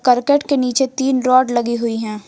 करकट के नीचे तीन रॉड लगी हुई है।